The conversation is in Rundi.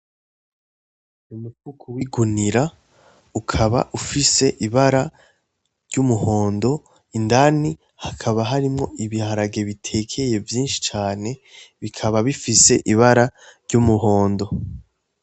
Umufuko w,igunira ukaba ufise ibara ry,umuhondo indani hakaba harimwo ibiharage bitekeye vyinshi cane bikaba bifise ibara ry,umuhondo.